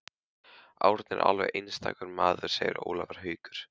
Árni er alveg einstakur maður segir Ólafur Haukur.